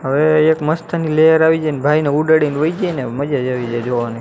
અવે એક મસ્તની લેર આવી જાયને ભાઈને ઉડાડીને વહી જાયને મજાજ આવી જાય જોવાની.